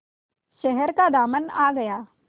शहर का दामन आ गया